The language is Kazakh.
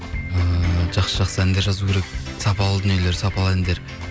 ыыы жақсы жақсы әндер жазу керек сапалы дүниелер сапалы әндер